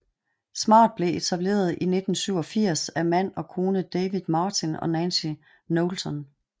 Smart blev etableret i 1987 af mand og kone David Martin og Nancy Knowlton